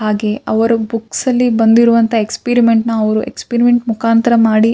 ಹಾಗೆ ಅವರ ಬುಕ್ಸ್ ಅಲ್ಲಿ ಬಂದಿರುವಂತ ಎಕ್ಸ್ಪೆರಿಮೆಂಟ್ನ ನಾ ಅವರು ಎಸ್ಪಿರಿಮೆಂಟ್ ಮುಖಾಂತರ ಮಾಡಿ --